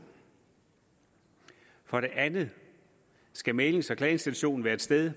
for det andet skal mæglings og klageinstitutionen være et sted